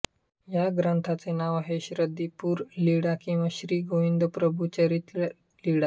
या ग्रंथाचे नाव आहे ऋद्धिपूरलीळा किंवा श्री गोविंदप्रभू चरित्र लीळा